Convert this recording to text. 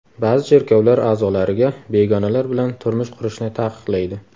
Ba’zi cherkovlar a’zolariga begonalar bilan turmush qurishni taqiqlaydi.